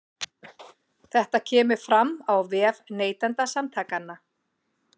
Þetta kemur fram á vef Neytendasamtakanna